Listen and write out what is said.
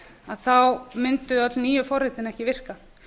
að þá mundu öll nýju forritin ekki virka